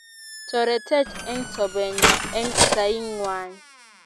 toretech eng sobenyo eng saingwai